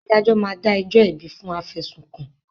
Adájọ́ máa dá ẹjọ́ ẹ̀bi fún afẹ̀sùnkàn